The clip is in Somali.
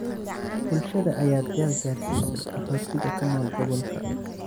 Bulshada ayaa deeq gaarsiisay qaxootiga ku nool gobolka.